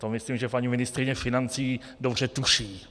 To myslím, že paní ministryně financí dobře tuší.